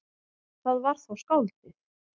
Það var þá skáldið.